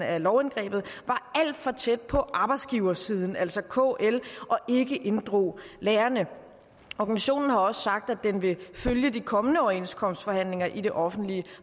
af lovindgrebet var alt for tæt på arbejdsgiversiden altså kl og ikke inddrog lærerne organisationen har også sagt at den vil følge de kommende overenskomstforhandlinger i det offentlige